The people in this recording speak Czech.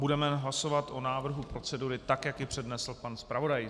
Budeme hlasovat o návrhu procedury tak, jak ji přednesl pan zpravodaj.